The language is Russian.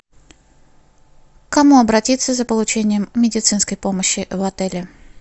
к кому обратиться за получением медицинской помощи в отеле